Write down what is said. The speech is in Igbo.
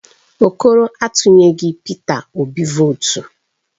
Okoro a tunyeghị Peter Obi votu